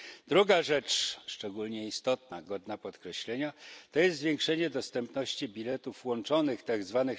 Drugą sprawą, szczególnie istotną i godną podkreślenia, jest zwiększenie dostępności biletów łączonych, tzw.